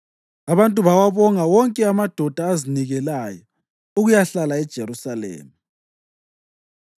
Abantu bawabonga wonke amadoda azinikelayo ukuyahlala eJerusalema.